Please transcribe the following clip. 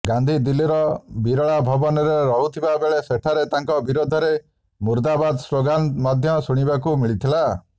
ଗାନ୍ଧୀ ଦିଲ୍ଲୀର ବିରଳା ଭବନରେ ରହୁଥିବା ବେଳେ ସେଠାରେ ତାଙ୍କ ବିରୋଧରେ ମୁର୍ଦ୍ଦାବାଦ ସ୍ଲୋଗାନ୍ ମଧୢ ଶୁଣିବାକୁ ମିଳିଥିଲା